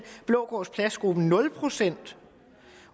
for blågårds plads gruppen nul procent